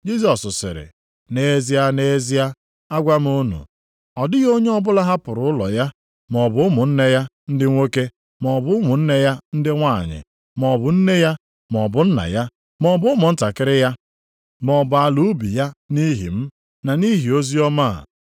Jisọs sịrị, “Nʼezie, nʼezie, agwa m unu, ọ dịghị onye ọbụla hapụrụ ụlọ ya, maọbụ ụmụnne ya ndị nwoke, maọbụ ụmụnne ya ndị nwanyị, maọbụ nne ya, maọbụ nna ya, maọbụ ụmụntakịrị ya, maọbụ ala ubi ya nʼihi m, na nʼihi oziọma a,